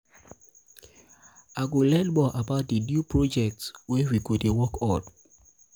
i go learn more about di new project wey we dey work on.